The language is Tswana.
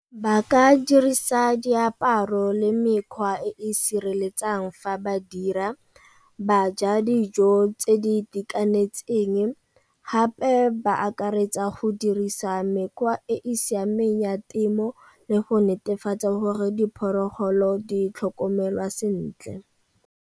Ba ka dirisa diaparo le mekgwa e e sireletsang fa ba dira, ba ja dijo tse di itekanetseng gape ba akaretsa go dirisa mekgwa e e siameng ya temo le go netefatsa gore diphologolo di tlhokomelwa sentle.